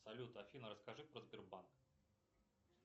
салют афина расскажи про сбербанк